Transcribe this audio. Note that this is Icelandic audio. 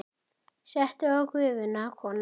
Settu á Gufuna, kona!